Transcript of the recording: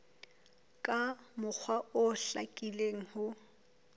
ka mokgwa o hlakileng ho